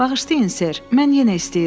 Bağışlayın Ser, mən yenə istəyirəm.